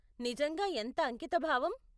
నిజంగా ఎంత అంకితభావం.